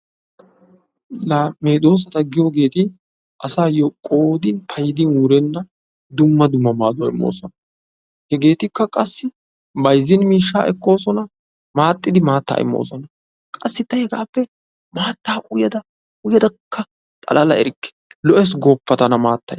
Laa medoosata giyoogeeti asayoo qoodin paydin wurenna dumma dumma maaduwa immosona; hegeetikka qassi bayzin miishshaa ekkoosona maxxidi maattaa immosona qassi ta hegaappe maattaa uyada uyadakka xalala erikke lo'ees gooppa tana maattay!